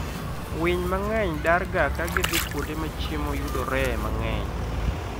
Winy mang'eny darga ka gidhi kuonde ma chiemo yudoree mang'eny.